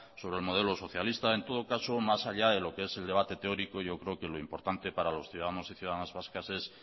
sobre el modelo socialista en todo caso más allá de lo que es el debate teórico yo creo que lo importante para los ciudadanos y ciudadanas vascas es